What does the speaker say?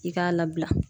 I k'a labila